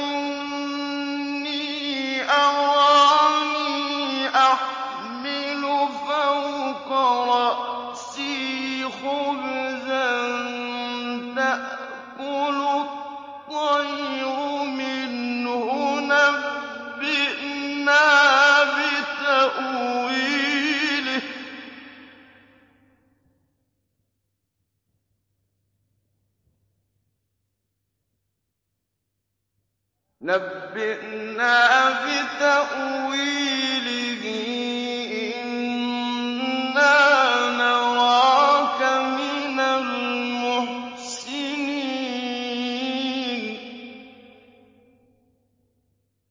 إِنِّي أَرَانِي أَحْمِلُ فَوْقَ رَأْسِي خُبْزًا تَأْكُلُ الطَّيْرُ مِنْهُ ۖ نَبِّئْنَا بِتَأْوِيلِهِ ۖ إِنَّا نَرَاكَ مِنَ الْمُحْسِنِينَ